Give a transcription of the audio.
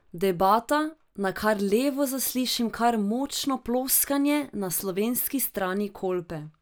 Debata, nakar levo zaslišim kar močno pluskanje na slovenski strani Kolpe.